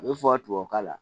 A bɛ fɔ tubabu kan na